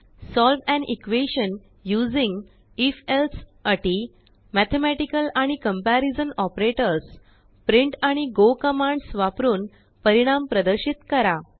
solve an equation using if elseअटी mathematical आणिकम्पेरीजनऑपरेटर्स printआणिgoकमांडसवापरून परिणाम प्रदर्शित करा